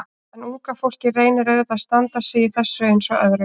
En unga fólkið reynir auðvitað að standa sig í þessu eins og öðru.